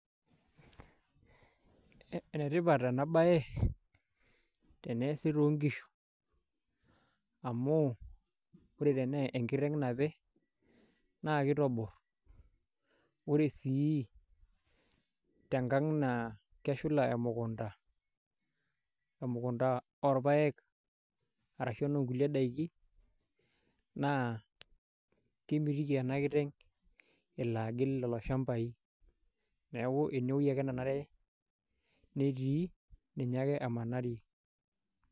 Enetipat enabae, teneesi tonkishu. Amu, ore tenaa enkiteng nape, naa kitobor. Ore sii, tenkang' naa, keshula emukunda, emukunda orpaek arashu enoo nkulie daiki, naa kemitiki ena kiteng',elo agil lelo shambai. Neeku enewoi ake nanare netii, ninye ake emanarie.